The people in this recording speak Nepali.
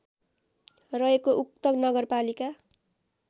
रहेको उक्त नगरपालिका